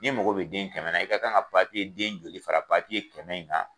N'i mako be den kɛmɛ na i ka kan ka den joli fara kɛmɛ in kan?